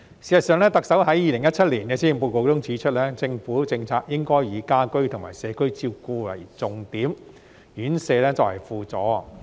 事實上，特首在2017年施政報告中指出，政府的政策應以家居及社區照顧為重點，院舍作為輔助。